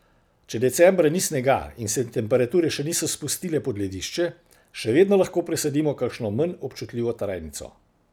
Če decembra ni snega in se temperature še niso spustile pod ledišče, še vedno lahko presadimo kakšno manj občutljivo trajnico.